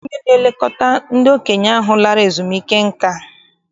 Ọ nweghị onye na-elekọta ndị okenye ahụ lara ezumike nka.